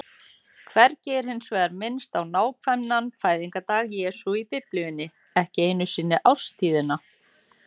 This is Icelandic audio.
Hvergi er hins vegar minnst á nákvæman fæðingardag Jesú í Biblíunni, ekki einu sinni árstíðina.